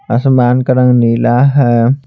आसमान का रंग नीला है।